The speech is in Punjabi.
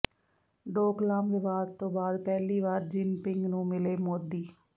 ਡੋਕਲਾਮ ਵਿਵਾਦ ਤੋਂ ਬਾਅਦ ਪਹਿਲੀ ਵਾਰ ਜਿਨਪਿੰਗ ਨੂੰ ਮਿਲੇ ਮੋਦੀ